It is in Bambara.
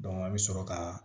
a bɛ sɔrɔ ka